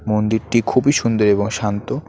মন্দিরটি খুবই সুন্দর এবং শান্ত।